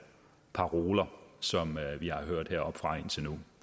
paroler som vi har hørt heroppefra indtil nu